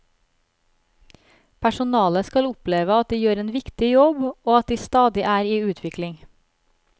Personalet skal oppleve at de gjør en viktig jobb og at de stadig er i utvikling.